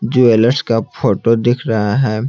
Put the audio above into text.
Jewellers का photo दिख रहा है।